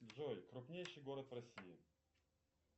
джой крупнейший город в россии